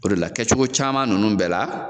O de la kɛcogo caman ninnu bɛɛ la